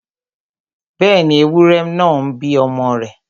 Bẹ́ẹ̀ni, ewúrẹ náà ń bí ọmọ rẹ̀